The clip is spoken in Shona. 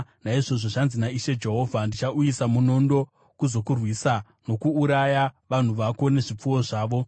“ ‘Naizvozvo zvanzi naIshe Jehovha: Ndichauyisa munondo kuzokurwisa nokuuraya vanhu vako nezvipfuwo zvavo.